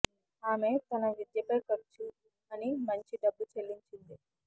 ఆమె తన విద్య పై ఖర్చు అని మంచి డబ్బు చెల్లించింది